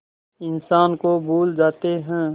इंसान को भूल जाते हैं